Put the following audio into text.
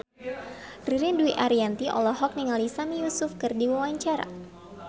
Ririn Dwi Ariyanti olohok ningali Sami Yusuf keur diwawancara